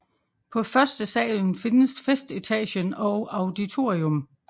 På førstesalen findes festetagen og auditorium